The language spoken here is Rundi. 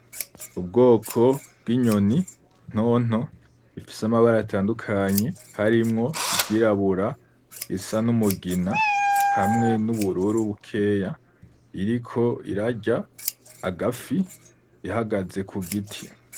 Ubwoko bw'inyoni nto nto ifise amabara atandukanye harimwo iryirabura, irisa n'umugina, hamwe n'ubururu bukeya, iriko irarya agafi ihagaze ku giti.